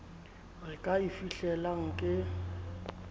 re ka e fihlelang ke